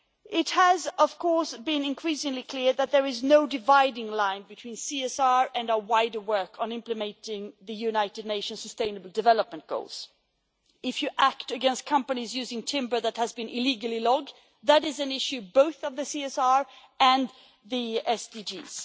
It has been increasingly clear that there is no dividing line between CSR and our wider work on implementing the United Nations sustainable development goals. If you act against companies using timber that has been illegally logged, that is an issue both of the CSR and the SDGs.